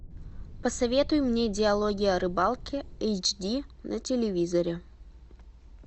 посоветуй мне диалоги о рыбалке эйч ди на телевизоре